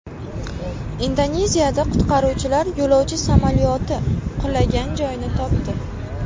Indoneziyada qutqaruvchilar yo‘lovchi samolyoti qulagan joyni topdi.